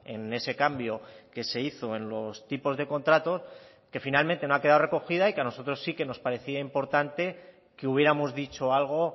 en ese cambio que se hizo en los tipos de contrato que finalmente no ha quedado recogida y que a nosotros sí que nos parecía importante que hubiéramos dicho algo